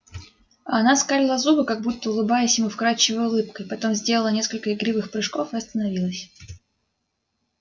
а она скалила зубы как будто улыбаясь ему вкрадчивой улыбкой потом сделала несколько игривых прыжков и остановилась